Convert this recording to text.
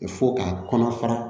Fo k'a kɔnɔ fara